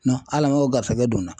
Ala man o garisɛgɛ don n na.